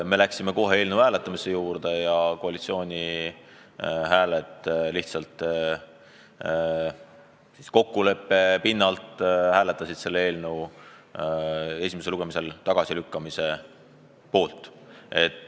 Me läksime kohe eelnõu hääletamise juurde ja koalitsiooni kuuluvad inimesed lihtsalt kokkuleppe pinnalt hääletasid eelnõu esimesel lugemisel tagasilükkamise poolt.